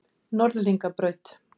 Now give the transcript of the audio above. Norðlingabraut